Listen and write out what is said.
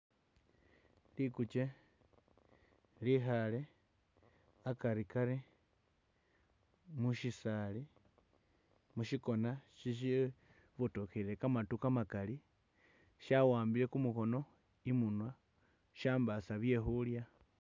Likukye likhaale akarikari musyisaali, musyikona syebotokhelele kamandu kamakali, syawambile kumukhono i'munwa kha syambaasa bye khuulya.